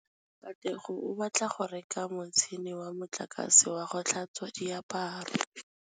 Katlego o batla go reka motšhine wa motlakase wa go tlhatswa diaparo.